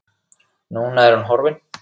Núna er hún horfin.